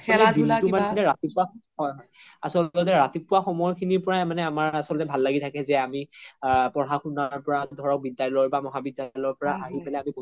হয় হয় আচলতে ৰাতিপুৱা সময় খিনিৰ পাই আমাৰ আচল্তে ভাল লাগি থকে যে আমি পঢ়া শুনাৰ পৰা ধৰক বিদ্যালয়ৰ পা বা মহা বিদ্যালয়ৰ পৰা আহি পেলাই